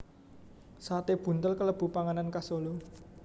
Sate buntel kalebu panganan khas Solo